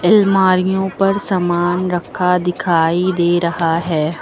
अलमारियों पर सामान रखा दिखाई दे रहा है।